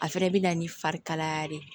A fɛnɛ bɛ na ni fari kalaya de ye